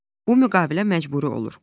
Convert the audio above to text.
Bu müqavilə məcburi olur.